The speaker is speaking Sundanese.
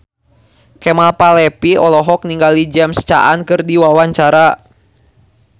Kemal Palevi olohok ningali James Caan keur diwawancara